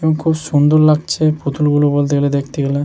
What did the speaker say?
এবং খুব সুন্দর লাগছে পুতুল গুলো বলতে গেলে দেখতে গেলে ।